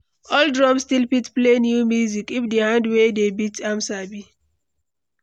Old drum still fit play new music if the hand wey dey beat am sabi.